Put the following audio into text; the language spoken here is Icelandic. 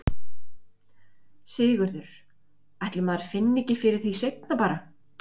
Sigurður: Ætli maður finni ekki fyrir því seinna bara?